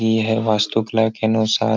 इ है वास्तुकला के अनुसार --